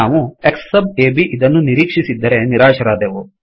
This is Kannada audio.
ನಾವು X ಸಬ್ ಅಬ್ ಇದನ್ನು ನಿರೀಕ್ಷಿಸಿದ್ದರೆ ನಿರಾಶರಾದೆವು